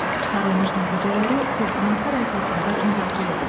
Çıxarılmış nəticələri təqdimatlar əsasında müzakirə edin.